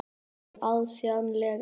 Nei, auðsjáanlega ekki.